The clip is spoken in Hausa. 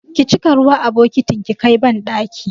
Ki cika ruwa a bokitin ki kai banɗaki!